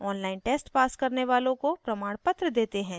online test pass करने वालों को प्रमाणपत्र देते हैं